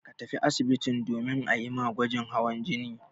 Ka tafi asibitin domin a yi ma gwajin hawan jini.